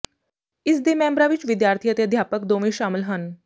ਇਸ ਦੇ ਮੈਂਬਰਾਂ ਵਿੱਚ ਵਿਦਿਆਰਥੀ ਅਤੇ ਅਧਿਆਪਕ ਦੋਵੇਂ ਸ਼ਾਮਲ ਹਨ